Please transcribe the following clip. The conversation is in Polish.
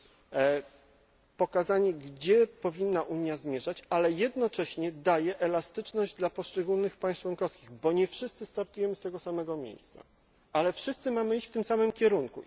i pokazane, gdzie Unia powinna zmierzać, ale jednocześnie daje elastyczność dla poszczególnych państw członkowskich, bo nie wszyscy startujemy z tego samego miejsca, ale wszyscy mamy iść w tym samym kierunku.